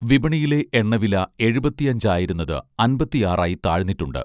വിപണിയിലെ എണ്ണവില എഴുപത്തിയഞ്ച് ആയിരുന്നത് അൻപത്തിയാറായി താഴ്ന്നിട്ടുണ്ട്